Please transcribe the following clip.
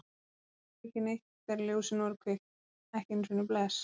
Hann sagði ekki neitt þegar ljósin voru kveikt, ekki einu sinni bless.